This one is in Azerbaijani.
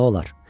Nə olar?